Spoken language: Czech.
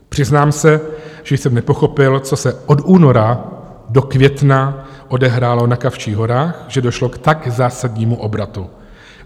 Přiznám se, že jsem nepochopil, co se od února do května odehrálo na Kavčích horách, že došlo k tak zásadnímu obratu.